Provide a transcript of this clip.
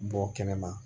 Bɔ kɛnɛma